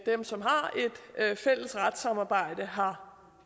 dem som har et fælles retssamarbejde har